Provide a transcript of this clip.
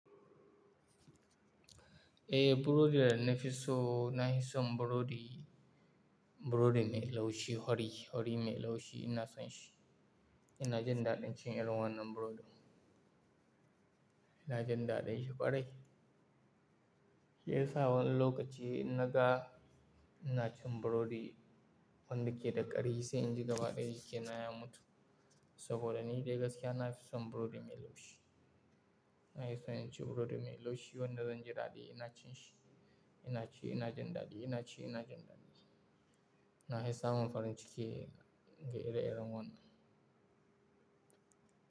Eh, burodi da na fi so na yi son burodi, burodi mai laushi, wari, wari mai laushi ina son shi. Ina jin daɗin cin irin wannan burodin. Ina jin daɗin shi ƙwarai. Shi ya sa wani lokaci in naga ina cin burodi wanda ke da ƙari sai inji gaba ɗaya jikana ya mutu. Saboda ni dai gaskiya na fi son burodi mai laushi. Na yi son in ci burodi mai laushi wanda zan ji daɗi ina cin shi. Ina ci ina jin daɗi, ina ci ina jin daɗi. Na yi sa mun farin ciki ga ire-iren wannan.